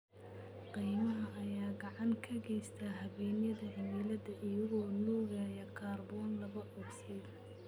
Kaymaha ayaa gacan ka geysta habeynta cimilada iyagoo nuugaya kaarboon laba ogsaydh.